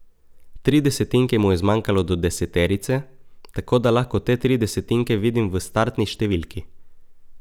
Tri desetinke mu je zmanjkalo do deseterice, tako da lahko te tri desetinke vidim v startni številki.